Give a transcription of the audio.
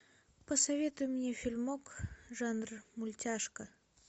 посоветуй мне фильмок жанр мультяшка